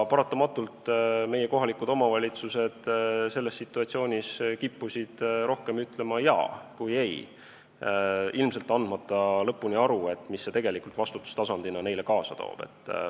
Paratamatult meie kohalikud omavalitsused selles situatsioonis kippusid rohkem ütlema "jaa" kui "ei", ilmselt andmata endale lõpuni aru, mida see tegelikult vastutustasandil neile kaasa toob.